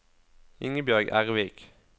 Ingebjørg Ervik